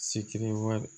wɛrɛ